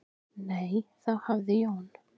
"""Nei, þá hafði Jón"""